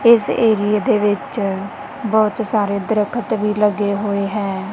ਇਸ ਏਰੀਏ ਦੇ ਵਿੱਚ ਬਹੁਤ ਸਾਰੇ ਦਰਖਤ ਵੀ ਲੱਗੇ ਹੋਏ ਹੈਂ।